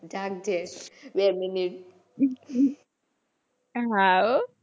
જાગજે બે મિનિટે. હા હો.